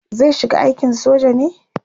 zai shiga aikin soja ne?